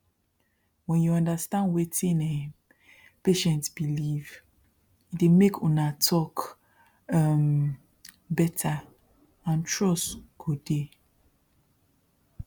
when you understand wetin um patient believe e dey make una talk um better and trust go dey